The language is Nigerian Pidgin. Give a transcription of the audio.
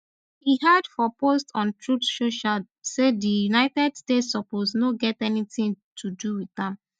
e add for post on truth social say di united states suppose no get anytin to do wit am